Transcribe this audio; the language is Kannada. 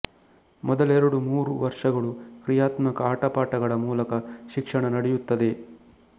ಮೊದಲೆರಡು ಮೂರು ವರ್ಷಗಳು ಕ್ರಿಯಾತ್ಮಕ ಆಟಪಾಠಗಳ ಮೂಲಕ ಶಿಕ್ಷಣ ನಡೆಯುತ್ತದೆ